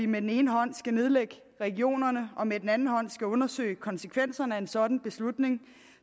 med den ene hånd skal nedlægge regionerne og med den anden hånd skal undersøge konsekvenserne af en sådan beslutning